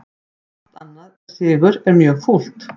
Allt annað en sigur mjög fúlt